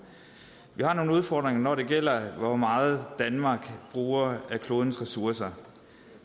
vi har nogle udfordringer når det gælder hvor meget danmark bruger af klodens ressourcer